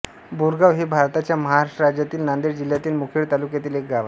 बोरगाव हे भारताच्या महाराष्ट्र राज्यातील नांदेड जिल्ह्यातील मुखेड तालुक्यातील एक गाव आहे